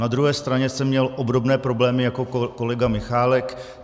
Na druhé straně jsem měl obdobné problémy jako kolega Michálek.